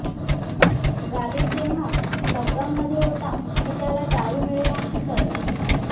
गालिब जेव्हा लॉकडाउनमध्ये होता आणि त्याला दारू मिळेनाशी झाली